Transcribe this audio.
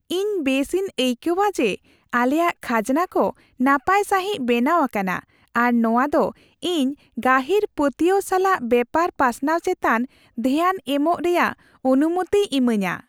ᱤᱧ ᱵᱮᱥᱤᱧ ᱟᱹᱭᱠᱟᱹᱣᱟ ᱡᱮ ᱟᱞᱮᱭᱟᱜ ᱠᱷᱟᱡᱱᱟ ᱠᱚ ᱱᱟᱯᱟᱭ ᱥᱟᱹᱦᱤᱡ ᱵᱮᱱᱟᱣ ᱟᱠᱟᱱᱟ, ᱟᱨ ᱱᱚᱶᱟᱫᱚ ᱤᱧ ᱜᱟᱹᱦᱤᱨ ᱯᱟᱹᱛᱭᱟᱹᱣ ᱥᱟᱞᱟᱜ ᱵᱮᱯᱟᱨ ᱯᱟᱥᱱᱟᱣ ᱪᱮᱛᱟᱱ ᱫᱷᱮᱭᱟᱱ ᱮᱢᱚᱜ ᱨᱮᱭᱟᱜ ᱚᱱᱩᱢᱚᱛᱤᱭ ᱤᱢᱟᱹᱧᱟ ᱾